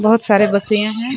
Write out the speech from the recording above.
बहोत सारे बकरिया है।